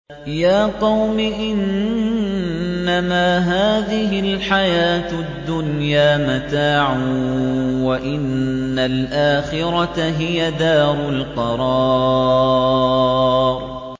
يَا قَوْمِ إِنَّمَا هَٰذِهِ الْحَيَاةُ الدُّنْيَا مَتَاعٌ وَإِنَّ الْآخِرَةَ هِيَ دَارُ الْقَرَارِ